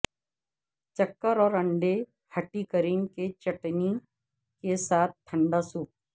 چکر اور انڈے ھٹی کریم کی چٹنی کے ساتھ ٹھنڈا سوپ